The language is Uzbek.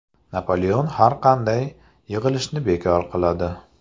Napoleon har qanday yig‘ilishni bekor qiladi.